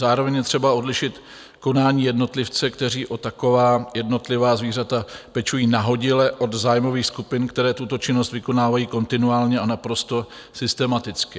Zároveň je třeba odlišit konání jednotlivce, kteří o taková jednotlivá zvířata pečují nahodile, od zájmových skupin, které tuto činnost vykonávají kontinuálně a naprosto systematicky.